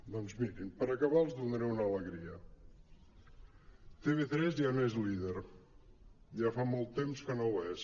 doncs mirin per acabar els donaré una alegria tv3 ja no és líder ja fa molt temps que no ho és